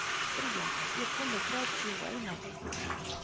Bríana, ég kom með þrjátíu og eina húfur!